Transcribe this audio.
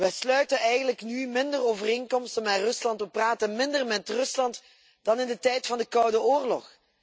We sluiten nu eigenlijk minder overeenkomsten met Rusland, we praten minder met Rusland, dan in de tijd van de Koude Oorlog.